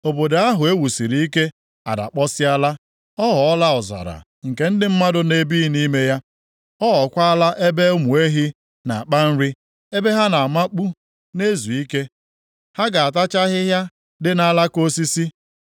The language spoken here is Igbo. Obodo ahụ e wusiri ike adakpọsịala. Ọ ghọọla ọzara nke ndị mmadụ na-ebighị nʼime ya. Ọ ghọọkwala ebe ụmụ ehi na-akpa nri, ebe ha na-amakpu na-ezu ike. Ha ga-atacha ahịhịa dị nʼalaka osisi.